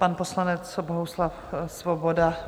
Pan poslanec Bohuslav Svoboda.